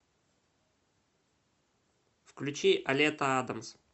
включи олета адамс